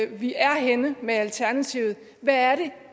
vi er henne med alternativet hvad er det